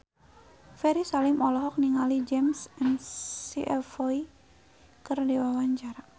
Ferry Salim olohok ningali James McAvoy keur diwawancara